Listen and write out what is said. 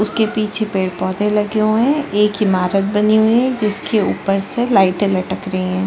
उसके पीछे पेड़ -पौधे लगे हुए है एक ईमारत बनी हुई है जिसके ऊपर से लाइटे लटक रही हैं ।